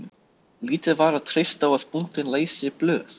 Lítið var að treysta á að bóndinn læsi blöð.